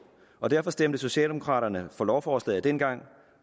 og derfor stemte socialdemokraterne for lovforslaget dengang